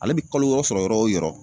Ale bi kalo wɔɔrɔ sɔrɔ yɔrɔ o yɔrɔ